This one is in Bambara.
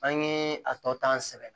An ye a tɔ ta sɛbɛn